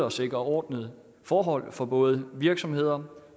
at sikre ordnede forhold for både virksomheder